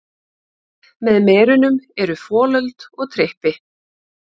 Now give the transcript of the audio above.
Með merunum eru folöld og trippi.